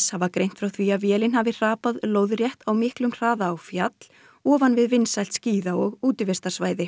hafa greint frá því að vélin hafi hrapað lóðrétt á miklum hraða á fjall ofan við vinsælt skíða og útivistarsvæði